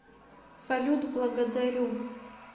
салют благодарю